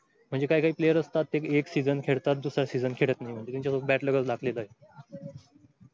म्हंजे काय काय player असतात ते एक season खेळतात दुसरा season नाही